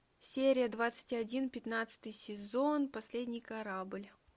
серия двадцать один пятнадцатый сезон последний корабль